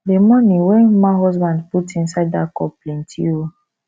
the money wey mma husband put inside dat cup plenty oo